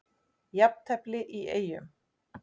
Jafntefli í Eyjum